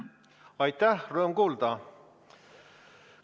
Aitäh, rõõm kuulda!